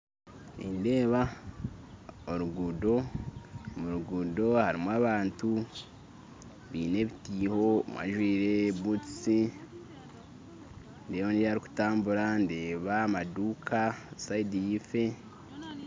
Nindeeba oruguto, omu ruguuto harimu abantu baine ebitiiho omwe ajwire butusi ndeeba ondi arikutambura ndeeba amaduka sayidi yaifo.